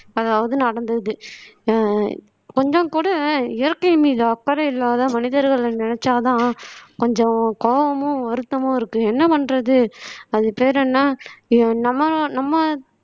அதாவது நடந்திருக்கு ஆஹ் கொஞ்சம் கூட இயற்கை மீது அக்கறை இல்லாத மனிதர்களை நினைச்சாதான் கொஞ்சம் கோவமும் வருத்தமும் இருக்கு என்ன பண்றது அது பேரு என்ன நம்ம நம்ம